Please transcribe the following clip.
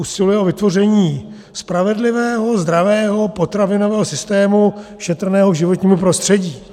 Usiluje o vytvoření spravedlivého, zdravého potravinového systému šetrného k životnímu prostředí.